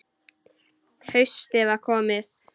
Haustið var komið.